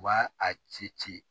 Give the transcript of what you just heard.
U b'a a ci ci ci